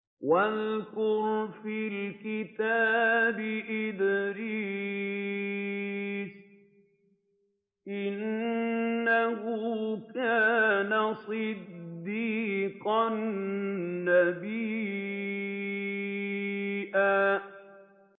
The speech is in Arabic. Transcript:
وَاذْكُرْ فِي الْكِتَابِ إِدْرِيسَ ۚ إِنَّهُ كَانَ صِدِّيقًا نَّبِيًّا